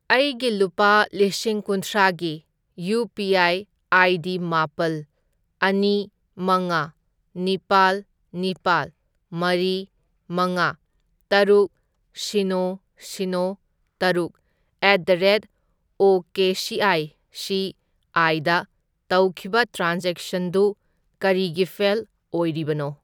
ꯑꯩꯒꯤ ꯂꯨꯄꯥ ꯂꯤꯁꯤꯡ ꯀꯨꯟꯊ꯭ꯔꯥꯒꯤ ꯌꯨ.ꯄꯤ.ꯑꯥꯏ. ꯑꯥꯏ.ꯗꯤ. ꯃꯥꯄꯜ, ꯑꯅꯤ, ꯃꯉꯥ, ꯅꯤꯄꯥꯜ, ꯅꯤꯄꯥꯜ, ꯃꯔꯤ, ꯃꯉꯥ, ꯇꯔꯨꯛ, ꯁꯤꯅꯣ, ꯁꯤꯅꯣ, ꯇꯔꯨꯛ, at the rate O K C I C ꯑꯥꯢꯗ ꯇꯧꯈꯤꯕ ꯇ꯭ꯔꯥꯟꯖꯦꯛꯁꯟꯗꯨ ꯀꯔꯤꯒꯤ ꯐꯦꯜ ꯑꯣꯔꯤꯕꯅꯣ?